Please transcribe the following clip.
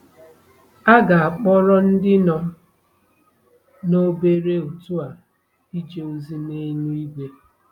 A ga-akpọrọ ndị nọ na obere òtù a ije ozi n'eluigwe.